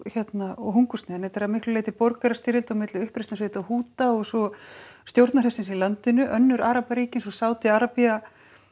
og hungursneyðin þetta er að miklu leyti borgarastyrjöld á milli uppreisnarsveita Húta og svo stjórnarhersins í landinu önnur arabaríki eins og Sádi Arabía